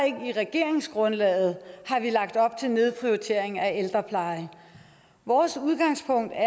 ikke i regeringsgrundlaget har vi lagt op til nedprioritering af ældreplejen vores udgangspunkt er at